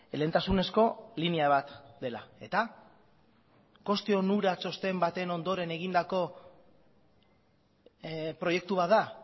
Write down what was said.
lehentasunezko linea bat dela eta koste onura txosten baten ondoren egindako proiektu bat da